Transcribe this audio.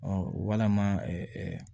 walama